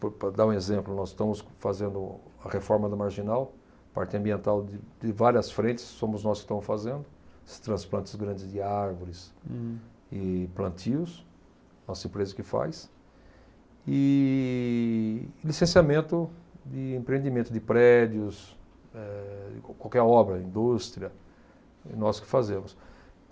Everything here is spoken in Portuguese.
Por, para dar um exemplo, nós estamos fazendo a reforma da Marginal, parte ambiental de, de várias frentes, somos nós que estamos fazendo, os transplantes grandes de árvores. Hum. E plantios, a nossa empresa que faz, e licenciamento de empreendimento de prédios, eh, de qualquer obra, indústria, nós que fazemos.